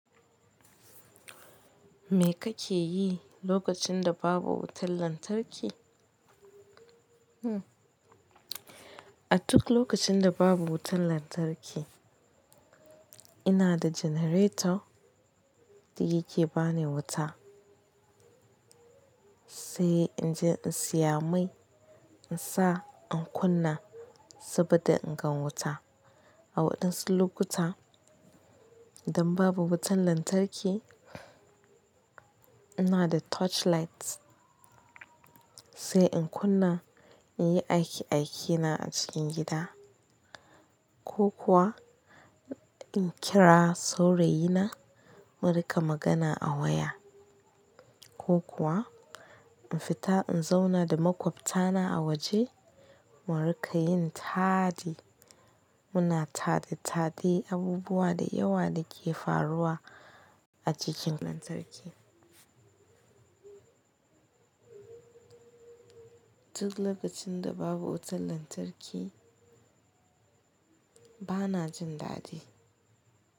Me kake yi lokacin da babu wutan lantarki? A duk lokacin da babu wutan lantarki, ina da generator da yake ba ni wuta, sai in je in siya mai in sa in kunna saboda in gan wuta. A waɗansu lokuta idan babu wutan lantarki, ina da torchlight sai in kunna in yi aiki-aikina a cikin gida ko kuwa in kira saurayina mu rika magana a waya ko kuwa in fita in zauna da maƙwabtana a waje mu rika yin tadi. Muna tadi-tadi abubuwa da yawa da ke faruwa a cikin lantarki. Duk lokacin da babu wutan lantarki bana jin dadi.